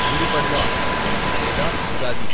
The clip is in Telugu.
గుడి పడ్వా లేదా ఉగాది